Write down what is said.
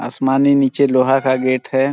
आसमानी नीचे लोहा का गेट है।